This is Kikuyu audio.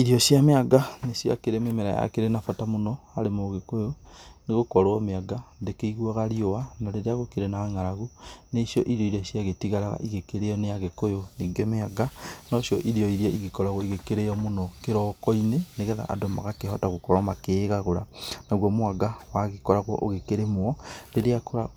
Irio cia mĩanga nĩ ciakĩrĩ mĩmera yakĩrĩ na bata mũno harĩ mũgĩkũyũ, nĩ gũkorwo mĩanga , ndĩkĩiguaga riũa, na rĩrĩa gũkĩrĩ na ng'aragu, nĩ cio iria ciagĩtigaraga igĩkĩrĩo nĩ agĩkũyũ. Ningĩ mĩanga, nocio irio iria igĩkoragwo ikĩrĩo mũno kĩroko-ĩnĩ nĩgetha andũ magakihota magikorwo makíĩgagũra. Naguo mwanga, wagĩkoragwo ugĩkĩrĩmwo